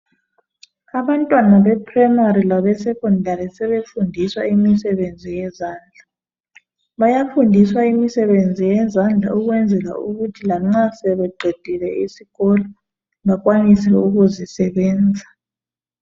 Abantwana beprimary labesecondary sebefundiswa imisebenzi yezandla. Bayafundiswa imisebenzi yezandla ukwenzela ukuthi lanxa sebeqedile isikolo bakwanise ukuzisebenza.